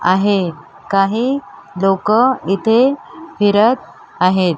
आहे काही लोकं इथे फिरत आहेत.